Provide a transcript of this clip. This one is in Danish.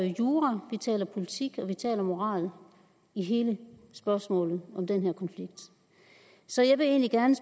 jura vi taler om politik og vi taler om moral i hele spørgsmålet om den her konflikt så jeg vil egentlig gerne